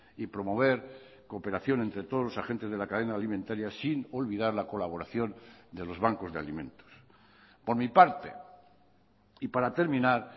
y promover cooperación entre todos los agentes de la cadena alimentaria sin olvidar la colaboración de los bancos de alimentos por mi parte y para terminar